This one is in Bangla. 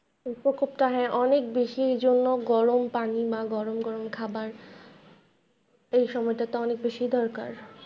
এই প্রকোপটা হ্যাঁ, অনেক বেশির জন্য গরম পানি বা গরম গরম খাবার এই সময়টাতে অনেক বেশি দরকার।